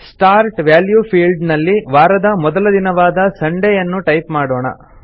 start value field ನಲ್ಲಿ ವಾರದ ಮೊದಲ ದಿನವಾದ ಸಂಡೇ ಯನ್ನು ಟೈಪ್ ಮಾಡೋಣ